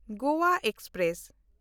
Goa express